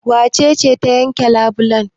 Wace ce ta yanka labulan?